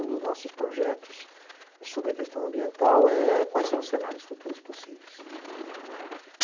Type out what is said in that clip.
Um dos nossos projetos sobre a questão ambiental é quais são os cenários futuros possíveis.